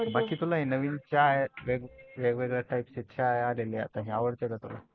बाकी तुला हे नवीन चहा वेगवेगळ्या Type चे चहाआलेले आवडते का तुला?